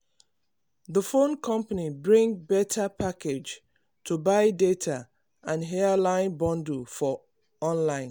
the phone company bring better package to buy data and airtime bundle for online.